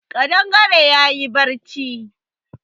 Ƙadangare ya yi barci